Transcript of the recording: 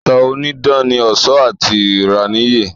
Ìtàn onídán ní ọ̀ṣọ́ àti ìráníyè